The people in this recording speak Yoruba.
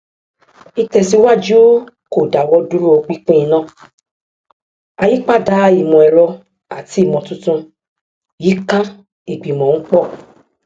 ìtèsíwájú kò dáwọdúró pinpin iná àyípadà ìmọẹrọ àti ìmọtuntun yíká ìgbìmọ ń pọ